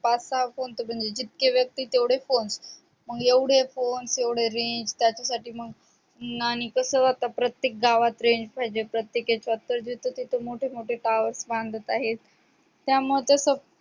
पाच सहा फोन म्हणजे जितके व्यक्ती तेवढे फोन मग एवढे फोन तेवढ range त्याच्यासाठी मग आणि आता कसं प्रत्येक गावात range पाहिजे प्रत्येक याच्यात तर जिथे तिथे मोठे towers बांधत आहे त्यामुळे तसं